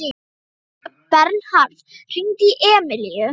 Bernharð, hringdu í Emilíu.